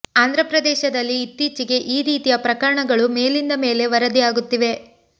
ಆಂಧ್ರ ಪ್ರದೇಶದಲ್ಲಿ ಇತ್ತೀಚಿಗೆ ಈ ರೀತಿಯ ಪ್ರಕರಣಗಳು ಮೇಲಿಂದ ಮೇಲೆ ವರದಿ ಆಗುತ್ತಿವೆ